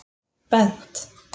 Bent